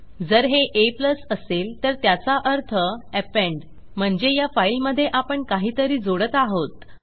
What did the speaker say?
जर हे a असेल तर त्याचा अर्थ अपेंड म्हणजे ह्या फाईलमधे आपण काहीतरी जोडत आहोत